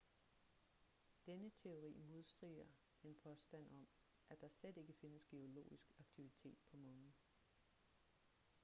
denne teori modstrider en påstand om at der slet ikke findes geologisk aktivitet på månen